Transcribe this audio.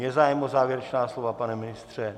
Je zájem o závěrečná slova - pane ministře?